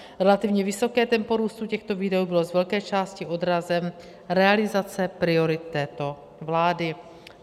Relativně vysoké tempo růstu těchto výdajů bylo z velké části odrazem realizace priorit této vlády.